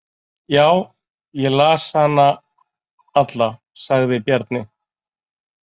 Já, ég las hana alla, sagði Bjarni.